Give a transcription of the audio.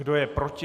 Kdo je proti?